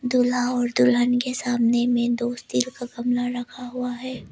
दूल्हा और दुल्हन के सामने में दो स्टील का गमला रखा हुआ है।